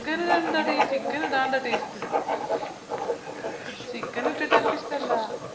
chicken ഇടേണ്ടേടി chicken ഇഡാണ്ടാ taste chicken ഇട്ടിട്ട് എനക്കിഷ്ടല്ല